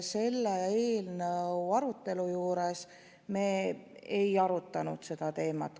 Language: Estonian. Selle eelnõu arutelul me ei käsitlenud seda teemat.